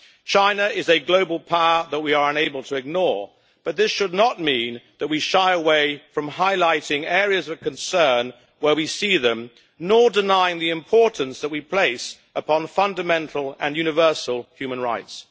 China is a global power that we are unable to ignore, but this should not mean that we shy away from highlighting areas of concern where we see them, nor deny the importance that we place upon fundamental and universal human rights.